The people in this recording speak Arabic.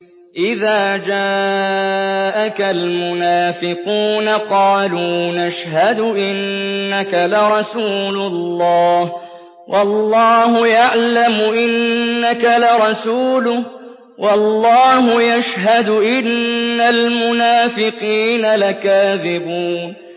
إِذَا جَاءَكَ الْمُنَافِقُونَ قَالُوا نَشْهَدُ إِنَّكَ لَرَسُولُ اللَّهِ ۗ وَاللَّهُ يَعْلَمُ إِنَّكَ لَرَسُولُهُ وَاللَّهُ يَشْهَدُ إِنَّ الْمُنَافِقِينَ لَكَاذِبُونَ